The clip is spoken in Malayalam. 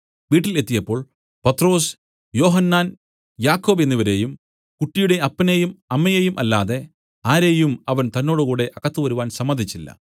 വീട്ടിൽ എത്തിയപ്പോൾ പത്രൊസ് യോഹന്നാൻ യാക്കോബ് എന്നിവരെയും കുട്ടിയുടെ അപ്പനെയും അമ്മയെയും അല്ലാതെ ആരെയും അവൻ തന്നോടുകൂടെ അകത്ത് വരുവാൻ സമ്മതിച്ചില്ല